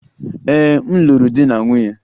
Ee, m lụrụ di na nwunye.